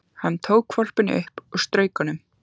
Hann tók hvolpinn upp og strauk honum.